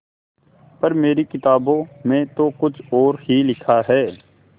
पर मेरी किताबों में तो कुछ और ही लिखा है